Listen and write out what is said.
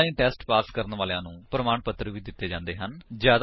online test pass ਕਰਨ ਵਾਲਿਆਂ ਨੂੰ ਪ੍ਰਮਾਣ ਪੱਤਰ ਵੀ ਦਿੰਦੇ ਹਨ